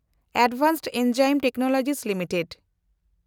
advanced Enzyme Technology limited